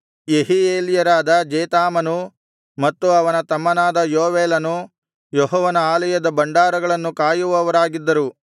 ಯೆಹೀಯೇಲ್ಯರಾದ ಜೇತಾಮನೂ ಮತ್ತು ಅವನ ತಮ್ಮನಾದ ಯೋವೇಲನು ಯೆಹೋವನ ಆಲಯದ ಭಂಡಾರಗಳನ್ನು ಕಾಯುವವರಾಗಿದ್ದರು